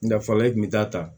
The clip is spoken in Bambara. N da fɔlɔ e kun be taa ta